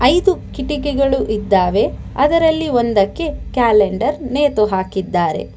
ಐದು ಕಿಟಕಿಗಳು ಇದ್ದಾವೆ ಅದರಲ್ಲಿ ಒಂದಕ್ಕೆ ಕ್ಯಾಲೆಂಡರ್ ನೇತು ಹಾಕಿದ್ದಾರೆ.